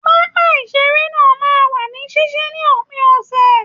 Pápá iṣere náà máa n wà ní ṣiṣi ní òpin ọsẹ.